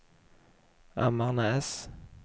Ammarnäs